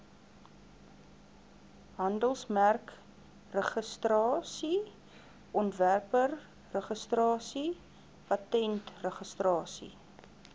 handelsmerkregistrasie ontwerpregistrasie patentregistrasie